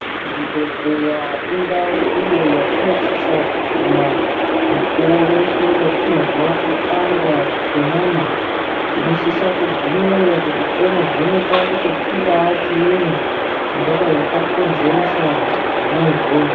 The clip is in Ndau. Zvibhedhlera indau iyo yatinosisa kuguma mukuwo weshe watinozwa kupanda kwenyama, tinosisa kugumeyo kuti tono vhenekwa kuti chingaa chiinyi chingadai chakonzeresa zvona izvozvo.